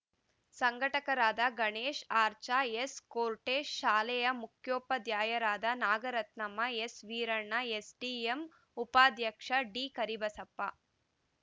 ಸಂಘಟಕರಾದ Ganesh R ಚಾ S ಕೋರ್ಟೇಶ್ ಶಾಲೆಯ ಮುಖ್ಯೋಪಾಧ್ಯಾಯರಾದ ನಾಗರತ್ನಮ್ಮ ಎಸ್‌ವೀರಣ್ಣ ಎಸ್‌ಡಿಎಂ ಉಪಾಧ್ಯಕ್ಷ ಡಿಕರಿಬಸಪ್ಪ